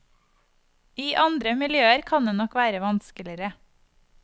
I andre miljøer kan det nok være vanskeligere.